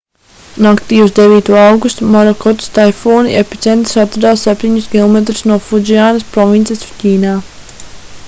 naktī uz 9. augustu morakotas taifūna epicentrs atradās septiņus kilometrus no fudzjaņas provinces ķīnā